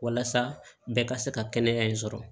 Walasa bɛɛ ka se ka kɛnɛya in sɔrɔ